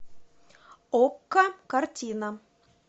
окко картина